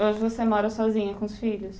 Hoje você mora sozinha com os filhos?